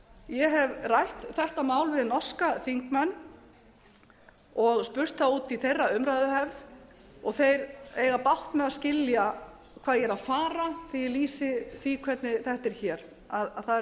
ég hef rætt þetta mál við norska þingmenn og spurt þá út í þeirra umræðuhefð og þeir eiga bágt með að skilja hvað ég er að fara þegar ég lýsi því hvernig þetta er hér að það eru